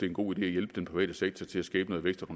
en god idé at hjælpe den private sektor til at skabe noget vækst og